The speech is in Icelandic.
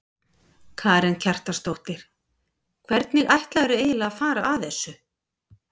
Karen Kjartansdóttir: Hvernig ætlarðu eiginlega að fara að þessu?